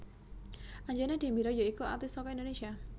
Anjana Demira ya iku aktris saka Indonésia